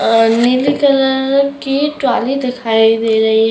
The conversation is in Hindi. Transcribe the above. और नीले कलर की ट्राली दिखाई दे रही है।